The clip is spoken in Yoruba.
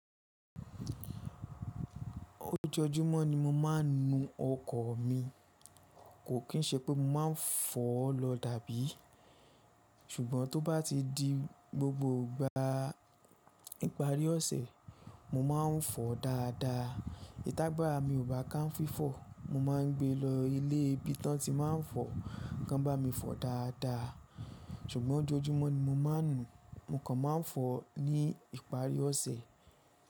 Ojoojúmọ́ ni mo máa ń nu ọkọ̀ mi. Kò kín ṣe pé mo máa ń fọ lọ dàbí. Ṣùgbọ́n tó bá ti di gbogbo ìgbà ìparí ọ̀sẹ̀, mo má ń fọ dáadáa. Iti ágbàra mi ò bá ká ń fífọ̀. Mo má ń gbe lọ ilé ibí tán tí má ń fọ, kan bá mi fọ dáadáa. Ṣùgbọ́n ojoojúmọ́ ni mo máa ń nu, mo kàn má ń fọ ní ìparí ọ̀sẹ̀.